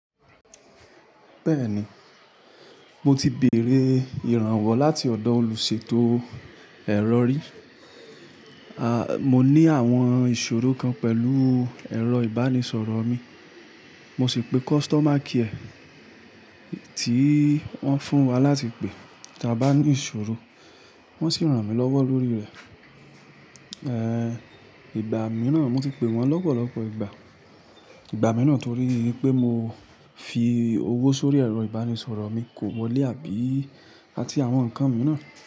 Bẹ́ẹ̀ni, mo ti bèèrè ìrànwọ́ láti ọ̀dọ̀ olùṣètò ẹ̀rọ rí. Mo ní àwọn ìṣòro kan pẹ̀lú ẹ̀rọ ìbánisọ̀rọ̀ mi, mo sì pe customer care tí wọ́n fún wa láti pe tí a bá ní ìṣòro. Wọ́n sì ràn mí lọ́wọ́ lórí rẹ̀. Ehn, ìgbà mìíràn mo ti pe wọ́n lọ́pọ̀lọpọ̀ ìgbà. Ìgbà mìíràn torí pé mo fi owó sórí ẹ̀rọ ìbánisọ̀rọ̀ mi kò wọlé àbí áti àwọn nǹkan mìíràn.